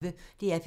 DR P1